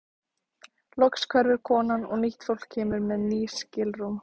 Loks hverfur konan og nýtt fólk kemur með ný skilrúm.